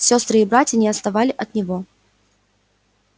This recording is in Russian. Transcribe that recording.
сестры и братья не отставали от него